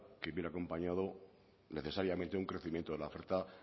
que viene acompañado necesariamente un crecimiento de la oferta